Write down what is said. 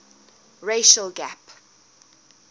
racial gap